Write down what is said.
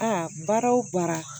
Aa baara o baara